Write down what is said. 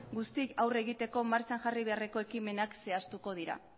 guztiei aurre egiteko martxan jarri beharreko ekimenak zehaztuko dira